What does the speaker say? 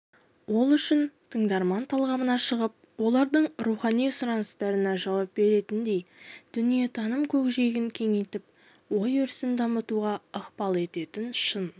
ол үшін тыңдарман талғамынан шығып олардың рухани сұраныстарына жауап беретіндей дүниетаным көкжиегін кеңейтіп ой-өрісін дамытуға ықпал ететін шын